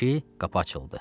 ki, qapı açıldı.